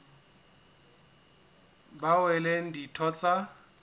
bao e leng ditho tsa